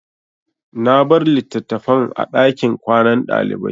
Na bar litattafan a ɗakin kwanan ɗalibai.